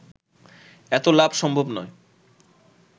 এত লাভ সম্ভব নয়